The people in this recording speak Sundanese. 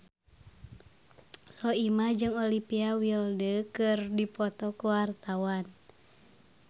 Soimah jeung Olivia Wilde keur dipoto ku wartawan